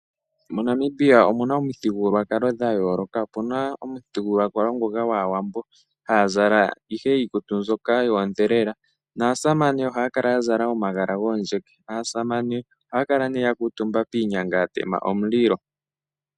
MoNamibia omuna omithigululwakalo dhayooloka. Opuna omuthigululwakalo gwaawambo, ohaya zala ihe iikutu mbyoka yoodhelela naasamane ohaya kala ya zala omagala goondjeke. Aasamane ohaya kala yakuutumba piinyanga yatema omililo.